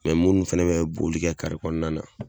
munnu fana bi ka boli kɛ kɔnɔna na